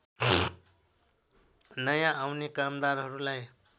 नयाँ आउने कामदारहरूलाई